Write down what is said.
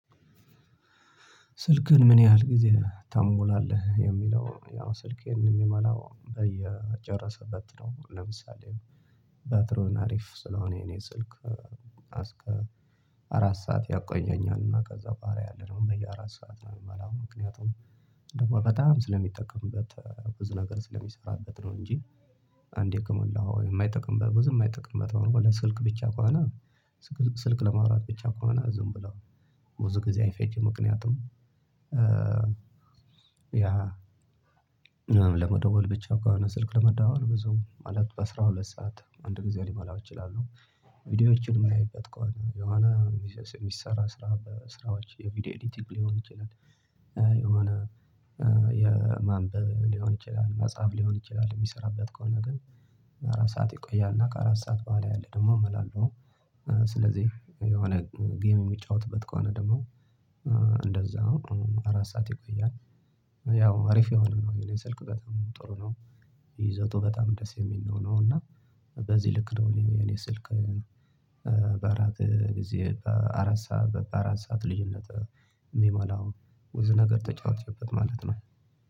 ስልክህን ምን ያህል ጊዜ ትምላለህ የሚለው ያው ስልክ ይሄንን የማላው በየጨረሰበት ነው? ለምሳሌ ባትሮን አሪፍ ስለሆነ የኔ ስልክ አስር አራት ሰዓት ያቆየኛል። እና ከዛ ባሪያ አለ ነው በየአራት ሰዓት ነው የምላው። ምክንያቱም ደግሞ በጣም ስለሚጠቀምበት ብዙ ነገር ስለሚሰራበት ነው። እንጂ አንዴ ከሞላው የማይጠቅም በብዙ የማይጠቅም በተወለ ስልክ ብቻ ከሆነ። ስልክ ለማውራት ብቻ ከሆነ ዝም ብለው ብዙ ጊዜ አይፈጀም። ምክንያቱም ያ ለመደወል ብቻ እኮ ስልክ ለመደዋወል ብዙም ማለት በአሥራ ሁለት ሰዓት አንድ ጊዜ ሊሞላው እችላለሁ። ቪዲዮዎችን የማያይበት ከሆነ የሆነ ቢዝነስ የሚሰራ ስራ በስራዎች የቪዲዮ ኤዲቲንግ ሊሆን ይችላል። የሆነ ሊሆን ይችላል መጽሐፍ ሊሆን ይችላል የሚሰራበት ከሆነ ግን አራት ሰዓት ይቆያል። እና ከአራት ሰዓት በኋላ ያለ ደግሞ እሞላለሁ። ስለዚህ የሆነ ጌም የሚጫወትበት ከሆነ ደግሞ ነው አራት ሰዓት ይቆያል። ያው አሪፍ የሆነ ነው የኔ ስልክ በጣም ጥሩ ነው። ይዘቱ በጣም ደስ የሚል ነው። እና በዚህ ልክ ነው እኔ የኔ ስልክ በአራት ጊዜ አራት ሰዓት በአራት ሰዓት ልዩነት የሚሞላው ብዙ ነገር ተጫውችበት ማለት ነው።